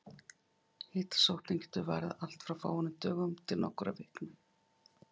Hitasóttin getur varað allt frá fáeinum dögum til nokkurra vikna.